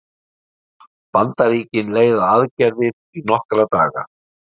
Bandaríkin leiða aðgerðir í nokkra daga